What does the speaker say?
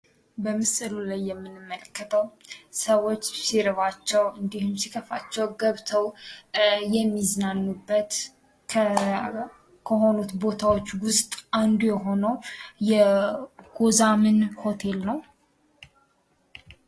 በምስሉ ላይ የምንመለከተው ሰዎች ሲርባቸው ሲከፋቸው ገብተው የሚዝናኑበት ከሆኑት ቦታዎች ውስጥ አንዱ የሆነው ጎዛምን ሆቴል ነው።